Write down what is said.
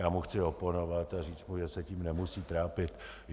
Já mu chci oponovat a říct mu, že se tím nemusí trápit.